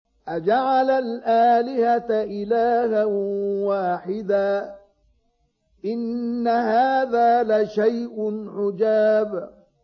أَجَعَلَ الْآلِهَةَ إِلَٰهًا وَاحِدًا ۖ إِنَّ هَٰذَا لَشَيْءٌ عُجَابٌ